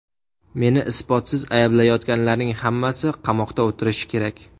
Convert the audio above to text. Meni isbotsiz ayblayotganlarning hammasi qamoqda o‘tirishi kerak.